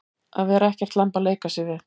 Að vera ekkert lamb að leika sér við